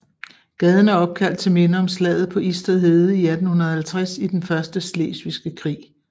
Gaden er opkaldt til minde om slaget på Isted Hede i 1850 i den første slesvigske krig